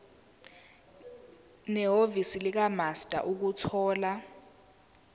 nehhovisi likamaster ukuthola